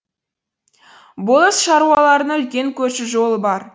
болыс шаруаларының үлкен көшу жолы бар